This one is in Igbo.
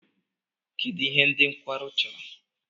Kedu ihe ndị nkwarụ chọrọ?